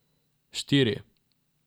Štiri!